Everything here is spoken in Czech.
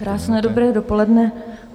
Krásné dobré dopoledne.